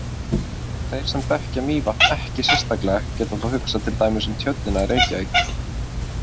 Þeir sem þekkja Mývatn ekki sérstaklega geta þá hugsað til dæmis um Tjörnina í Reykjavík.